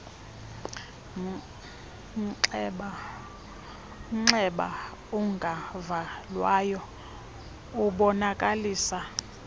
mnxeba ungavalwayo ubonakalisa